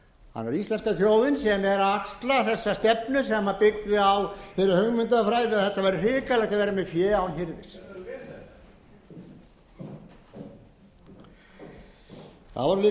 þjóðin síðan er að axla þessa stefnu sem byggði á þeirri hugmyndafræði að þetta væri hrikalegt að vera með fé án hirðis það er betra að lesa þetta það voru líka